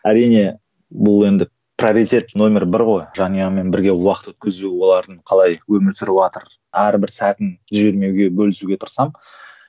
әрине бұл енді приоритет нөмір бір ғой жанұяңмен бірге уақыт өткізу олардың қалай өмір сүріватыр әрбір сәтін жібермеуге бөлісуге тырысамын